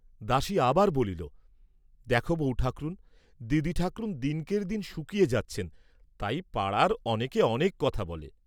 দাসী আবার বলিল, দেখ বৌঠাকরুণ, দিদিঠাকরুণ দিনকের্ দিন শুকিয়ে যাচ্ছেন, তাই পাড়ার অনেকে অনেক কথা বলে।